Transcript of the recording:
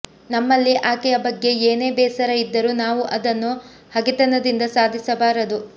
ನಮ್ಮಲ್ಲಿ ಆಕೆಯ ಬಗ್ಗೆ ಏನೇ ಬೇಸರ ಇದ್ದರೂ ನಾವು ಅದನ್ನು ಹಗೆತನದಿಂದ ಸಾಧಿಸಬಾರದು